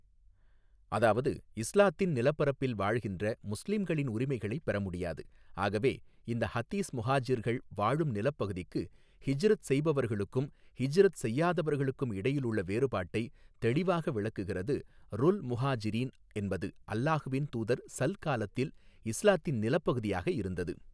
அதாவது இஸ்லாத்தின் நிலப்பரப்பில் வாழ்கின்ற முஸ்லிம்களின் உரிமைகளை பெறமுடியாது ஆகவே இந்த ஹதீஸ் முஹாஜிர்கள் வாழும் நிலப்பகுதிக்கு ஹிஜ்ரத் செய்பவர்களுக்கும் ஹிஜ்ரத் செய்யாதவர்களுக்கும் இடையிலுள்ள வேறுபாட்டை தெளிவாக விளக்குகிறது ருல் முஹாஜிரீன் என்பது அல்லஹ்வின் தூதர்ஸல் காலத்தில் இஸ்லாத்தின் நிலப்பகுதியாக இருந்தது.